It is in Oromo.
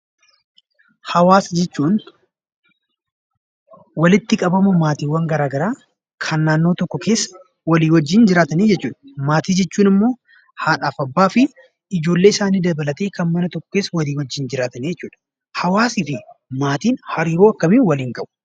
Hawaasa jechuun walitti qabama maatiiwwan garagaraa kan naannoo tokko keessaa waliin jiraatan jechuudha. Maatii jechuun immoo haadha, abbaa fi ijoollee mana tokko keessa waliin jiraatan jechuudha. Hawaasni fi maatiin hariiroo maalii waliin qabu?